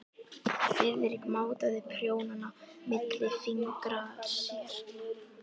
Friðrik mátaði prjónana milli fingra sér.